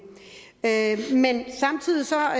samtidig siger